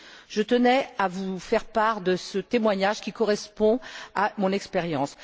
Je tenais à vous faire part de ce témoignage qui correspond à mon expérience.